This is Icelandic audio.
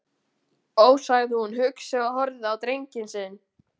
Ó, sagði hún hugsi og horfði á drenginn sinn.